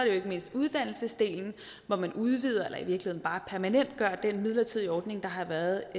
jo ikke mindst uddannelsesdelen hvor man udvider eller i virkeligheden bare permanentgør den midlertidige ordning der har været